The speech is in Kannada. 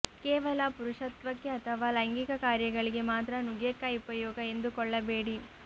ಕೇವಲ ಪುರುಷತ್ವಕ್ಕೆ ಅಥವಾ ಲೈಂಗಿಕ ಕಾರ್ಯಗಳಿಗೆ ಮಾತ್ರ ನುಗ್ಗೆಕಾಯಿ ಉಪಯೋಗ ಎಂದುಕೊಳ್ಳಬೇಡಿ